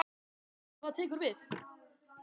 Höskuldur: Hvað tekur við?